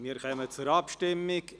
Wir kommen zur Abstimmung.